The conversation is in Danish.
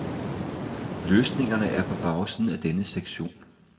Løsningerne er på bagsiden af denne sektion.